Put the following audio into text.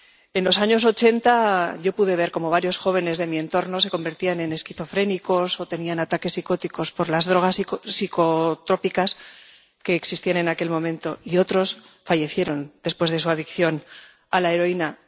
En los años 80 yo pude ver cómo varios jóvenes de mi entorno se convertían en esquizofrénicos o tenían ataques psicóticos por las drogas psicotrópicas que existían en aquel momento y cómo otros fallecieron después de su adicción a la heroína.